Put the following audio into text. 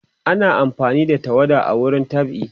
ana amfani da tawada a wurin dab'i